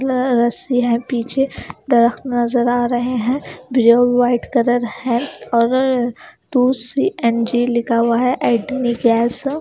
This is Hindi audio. ल रसी है पीछे डॉग नज़र आरहे है ब्लू वाइट कलर है और टू सी_एन_जी लिखा हुआ है ऐसा--